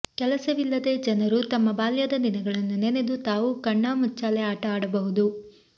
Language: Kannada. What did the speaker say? ಕೆಲಸವಿಲ್ಲದ ಜನರೂ ತಮ್ಮ ಬಾಲ್ಯದ ದಿನಗಳನ್ನು ನೆನೆದು ತಾವೂ ಕಣ್ಣಾ ಮುಚ್ಚಾಲೆ ಆಟ ಆಡಬಹುದು